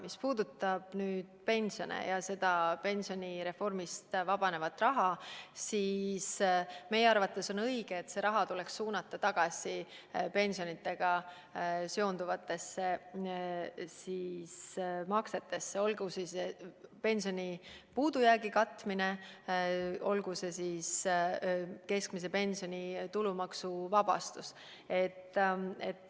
Mis puudutab pensione ja pensionireformi käigus vabanevat raha, siis meie arvates tuleks see raha suunata pensionidega seonduvatesse maksetesse, olgu see pensionisummade puudujäägi katmine, olgu see keskmise pensioni tulumaksuvabastus.